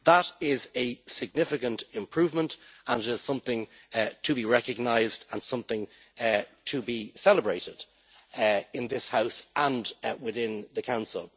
That is a significant improvement and it is something to be recognised and something to be celebrated in this House and within the Council.